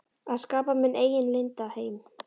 Að skapa minn eigin leynda heim.